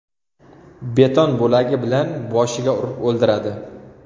Beton bo‘lagi bilan boshiga urib o‘ldiradi.